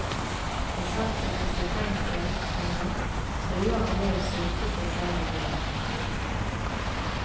Hvis han settes i fengsel, komma truer han med å sulte seg selv ihjel. punktum